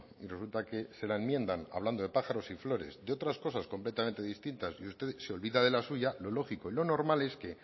y resulta que se la enmiendan hablando de pájaros y flores de otras cosas completamente distintas y usted se olvida de la suya lo lógico y lo normal es que